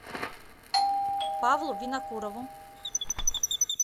павлу винокурову